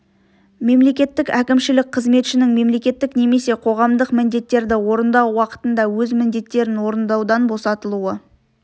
мемлекеттік әкімшілік қызметшінің мемлекеттік немесе қоғамдық міндеттерді орындау уақытында өз міндеттерін орындаудан босатылуы